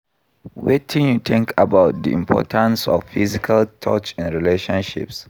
Wetin you think about di importance of physical touch in relationships?